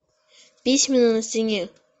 письмена на стене